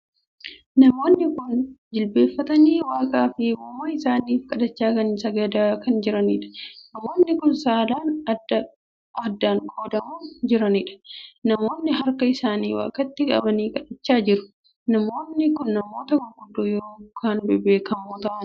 Namoonni kun jilbeeffatanii waaqa ykn uumaa isaaniif kadhachaa ykn sagadaa kan jiranidha. namoonni kun saalaan addan qoodamanii jiranidha. namoonni harka isaanii waaqaatti qabanii kadhachaa jiru. namoonni kun namoota gurguddoo ykn namoota bebbeekoo kan tahanidha.